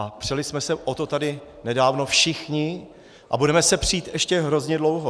A přeli jsme se o to tady nedávno všichni a budeme se přít ještě hrozně dlouho.